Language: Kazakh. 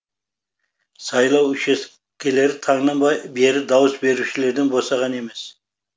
сайлау учаскелері таңнан бері дауыс берушілерден босаған емес